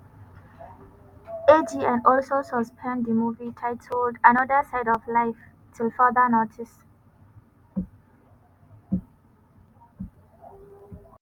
agn also suspend di movie titled another side of life till further notice.